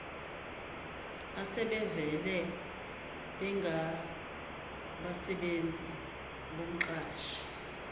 asebevele bengabasebenzi bomqashi